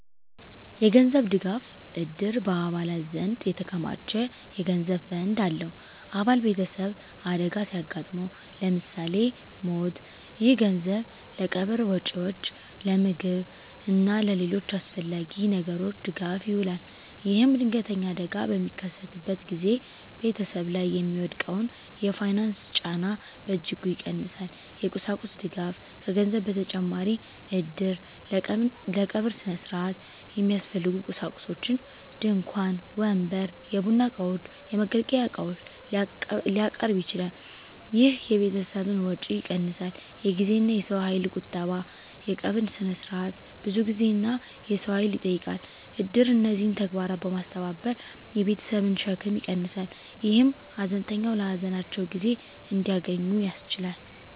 የገንዘብ ድጋፍ: እድር በአባላት ዘንድ የተከማቸ የገንዘብ ፈንድ አለው። አባል ቤተሰብ አደጋ ሲያጋጥመው (ለምሳሌ ሞት)፣ ይህ ገንዘብ ለቀብር ወጪዎች፣ ለምግብ እና ለሌሎች አስፈላጊ ነገሮች ድጋፍ ይውላል። ይህም ድንገተኛ አደጋ በሚከሰትበት ጊዜ ቤተሰብ ላይ የሚወድቀውን የፋይናንስ ጫና በእጅጉ ይቀንሳል። የቁሳቁስ ድጋፍ: ከገንዘብ በተጨማሪ እድር ለቀብር ሥነ ሥርዓት የሚያስፈልጉ ቁሳቁሶችን (ድንኳን፣ ወንበር፣ የቡና እቃዎች፣ የመገልገያ ዕቃዎች) ሊያቀርብ ይችላል። ይህ የቤተሰብን ወጪ ይቀንሳል። የጊዜና የሰው ኃይል ቁጠባ: የቀብር ሥነ ሥርዓት ብዙ ጊዜና የሰው ኃይል ይጠይቃል። እድር እነዚህን ተግባራት በማስተባበር የቤተሰብን ሸክም ይቀንሳል፣ ይህም ሀዘንተኞች ለሀዘናቸው ጊዜ እንዲያገኙ ያስችላል።